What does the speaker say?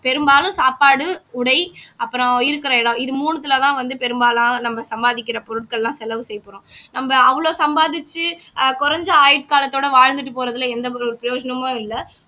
பெரும்பாலும் சாப்பாடு உடை அப்புறம் இருக்கிற இடம் இது மூணுத்துலதான் வந்து பெரும்பாலான நம்ம சம்பாதிக்கிற பொருட்கள்லாம் செலவு செய்யப் போறோம் நம்ம அவ்வளவு சம்பாதிச்சு ஆஹ் குறைஞ்ச ஆயுட்காலத்தோட வாழ்ந்துட்டு போறதுல எந்த ஒரு பிரயோஜனமும் இல்ல